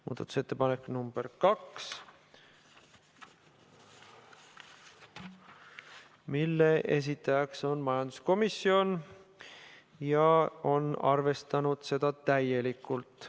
Muudatusettepanek nr 2, mille esitaja on majanduskomisjon ja mida arvestatud täielikult.